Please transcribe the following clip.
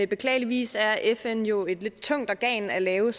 beklageligvis er fn jo et lidt tungt organ at lave